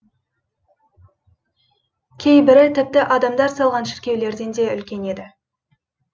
кейбірі тіпті адамдар салған шіркеулерден де үлкен еді